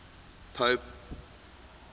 pope honorius